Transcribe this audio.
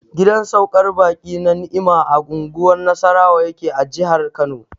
Gidan saukar baƙi na Ni'imah a unguwar Nasarawa yake a jihar Kano.